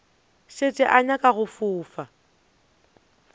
šetše o nyaka go fofa